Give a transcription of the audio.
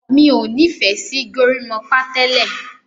mi'o ní fè sí gorimopa tẹlẹ